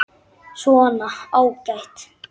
Svona, ágætt.